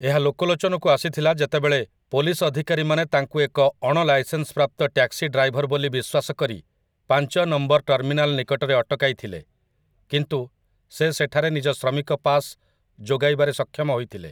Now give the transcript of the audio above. ଏହା ଲୋକଲୋଚନକୁ ଆସିଥିଲା ଯେତେବେଳେ ପୋଲିସ ଅଧିକାରୀମାନେ ତାଙ୍କୁ ଏକ ଅଣଲାଇସେନ୍ସ୍ ପ୍ରାପ୍ତ ଟ୍ୟାକ୍ସି ଡ୍ରାଇଭର ବୋଲି ବିଶ୍ୱାସ କରି ପାଞ୍ଚ ନମ୍ବର ଟର୍ମିନାଲ୍ ନିକଟରେ ଅଟକାଇଥିଲେ, କିନ୍ତୁ ସେ ସେଠାରେ ନିଜ ଶ୍ରମିକ ପାସ୍ ଯୋଗାଇବାରେ ସକ୍ଷମ ହୋଇଥିଲେ ।